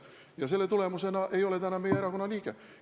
Ja selle tagajärjel ei ole ta enam meie erakonna liige.